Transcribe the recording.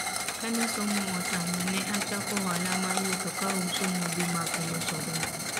kane somo otama ne achako ohala mar wuotho ka auso modhi mag loso ber